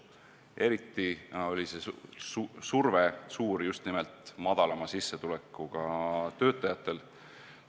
Eriti suur surve on just nimelt madalama sissetulekuga töötajatel.